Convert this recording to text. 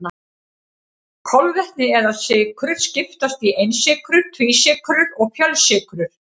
Kolvetni eða sykrur skiptast í einsykrur, tvísykrur og fjölsykrur.